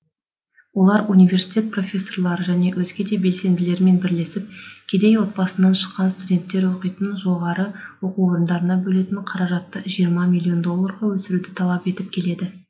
олар университет профессорлары және өзге де белсенділермен бірлесіп кедей отбасынан шыққан студенттер оқитын жоғарғы оқу орындарына бөлінетін қаражатты жиырма миллион долларға өсіруді талап етіп келеді